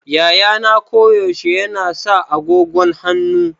Yayana koyaushe yana sa agogon hannu.